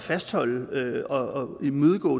fastholde og imødegå